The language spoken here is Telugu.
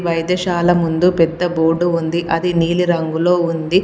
వైద్యశాల ముందు పెద్ద బోర్డు ఉంది అది నీలి రంగులో ఉంది.